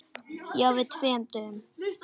Já, fyrir tveim dögum.